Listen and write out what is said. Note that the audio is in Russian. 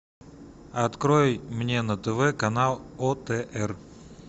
открой мне на тв канал отр